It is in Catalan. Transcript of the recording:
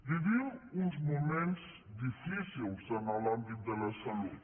vivim uns moments difícils en l’àmbit de la salut